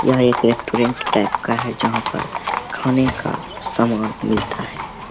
यह एक restaurant type का है जहां पर खाने का सामान मिलता है ।